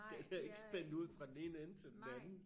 Den er ikke spændt ud fra den ene ende til den anden